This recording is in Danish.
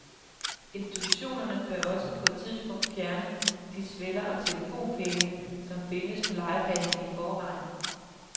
Institutionerne bør også på et tidspunkt fjerne de sveller og telefonpæle, som findes på legepladsen i forvejen.